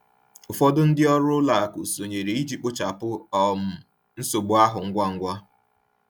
Ụfọdụ ndị ọrụ ụlọ akụ sonyere iji kpochapụ um nsogbu ahụ ngwa ngwa.